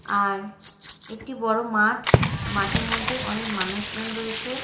আর একটি বড় মাঠ মাঠের মধ্যে অনেক মানুষজন রয়েছে।